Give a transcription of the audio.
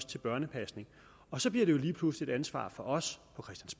til børnepasning og så bliver det jo lige pludselig et ansvar for os